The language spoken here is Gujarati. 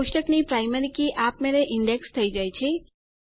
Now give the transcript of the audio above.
કોષ્ટકની પ્રાયમરી કી આપમેળે ઈન્ડેક્સ થઇ જાય છે